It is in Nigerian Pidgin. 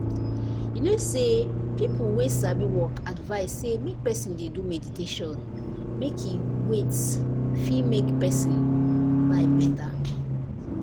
you know say people wey sabi work advice say make person dey do meditation make e wait! fit make person life better.